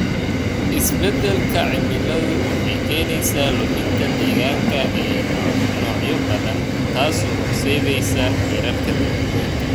Isbeddelka cimiladu waxay keenaysaa luminta deegaanka ee noocyo badan, taasoo horseedaysa heerarka dabar goynta.